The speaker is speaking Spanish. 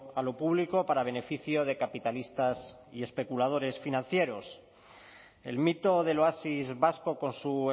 a lo público para beneficio de capitalistas y especuladores financieros el mito del oasis vasco con su